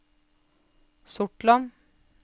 Sortland